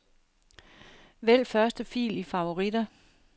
Vælg første fil i favoritter.